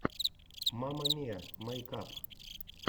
мама миа мэйкап